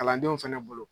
Kalandenw fɛnɛ bolo